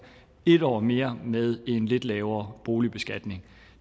en år mere med en lidt lavere boligbeskatning